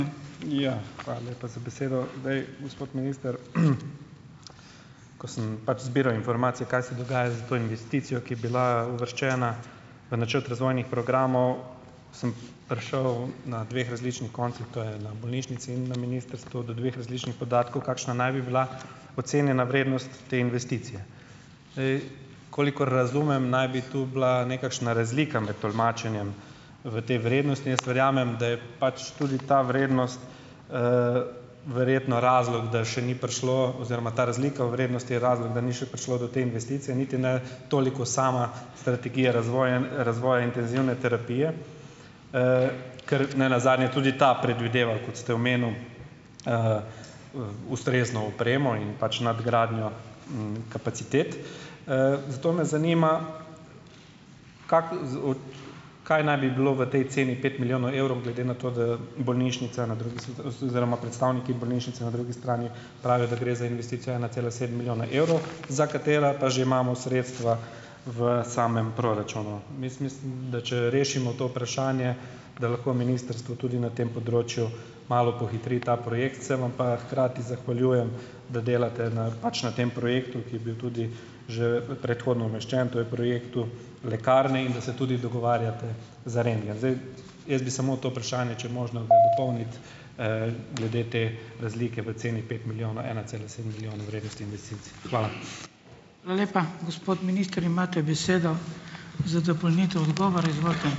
Ija. Hvala lepa za besedo. Zdaj, gospod minister, ko sem pač zbiral informacije kaj se dogaja s to investicijo, ki je bila uvrščena v načrt razvojnih programov, sem prišel na dveh različnih koncih, to je na bolnišnici in na ministrstvu, do dveh različnih podatkov, kakšna naj bi bila ocenjena vrednost te investicije. Zdaj, kolikor razumem, naj bi tu bila nekakšna razlika med tolmačenjem v te vrednosti. Jaz verjamem, da je pač tudi ta vrednost, verjetno razlog, da še ni prišlo, oziroma ta razlika v vrednosti je razlog, da ni še prišlo do te investicije, niti ne toliko sama strategija razvoja, razvoja intenzivne terapije, ker ne nazadnje tudi ta predvideva, kot ste omenil, ustrezno opremo in pač nadgradnjo, kapacitet. Zato me zanima, kako kaj naj bi bilo v tej ceni pet milijonov evrov, glede nato, da je bolnišnica na drugi oziroma predstavniki bolnišnice na drugi strani pravijo, da gre za investicijo ena cela sedem milijona evrov, za katero pa že imamo sredstva v samem proračunu. Jaz mislim, da če rešimo to vprašanje, da lahko ministrstvo tudi na tem področju malo pohitri ta projekt. Se vam pa hkrati zahvaljujem, da delate na pač na tem projektu, ki je bil tudi že predhodno umeščen, to je projektu lekarne, in da se tudi dogovarjate za rentgen. Zdaj, jaz bi samo to vprašanje, če je možno, dopolniti, glede te razlike v ceni pet milijonov, ena cela sedem milijon vrednosti investicij. Hvala.